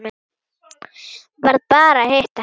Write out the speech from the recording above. Varð bara að hitta hana.